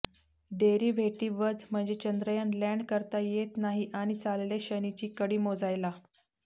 derivatives म्हणजे Chandrayaan land करता येत नाही आणि चालले शनीची कडी मोजायला